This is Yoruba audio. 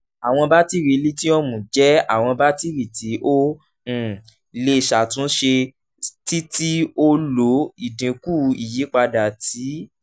awọn batiri lithium jẹ awọn batiri ti o um le ṣatunṣe ti ti o lo idinku iyipada ti